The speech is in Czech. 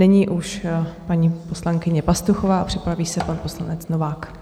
Nyní už paní poslankyně Pastuchová, připraví se pan poslanec Novák.